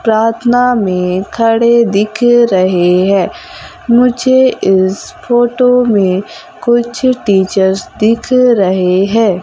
प्रार्थना में खड़े दिख रहे हैं मुझे इस फोटो में कुछ टीचर्स दिख रहे हैं।